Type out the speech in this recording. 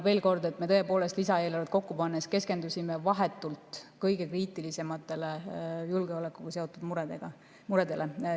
Veel kord: me tõepoolest lisaeelarvet kokku pannes keskendusime vahetult kõige kriitilisematele, julgeolekuga seotud muredele.